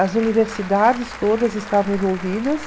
As universidades todas estavam envolvidas,